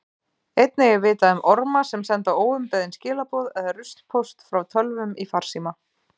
Einnig er vitað um orma sem senda óumbeðin skilaboð eða ruslpóst frá tölvum í farsíma.